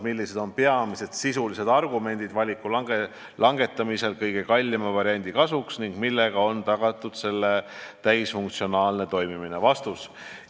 Millised on peamised sisulised argumendid valiku langetamisel kõige kallima variandi kasuks ning millega on tagatud selle täisfunktsionaalne toimimine?